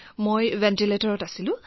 মই ভেণ্টিলেটৰত আছিলো